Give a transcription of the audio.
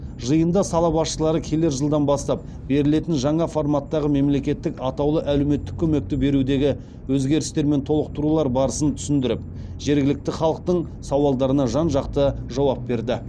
жиында сала басшылары келер жылдан бастап берілетін жаңа форматтағы мемлекеттік атаулы әлеуметтік көмекті берудегі өзгерістер мен толықтырулар барысын түсіндіріп жергілікті халықтың сауалдарына жан жақты жауап берді